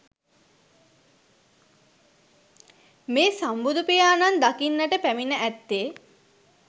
මේ සම්බුදු පියාණන් දකින්නට පැමිණ ඇත්තේ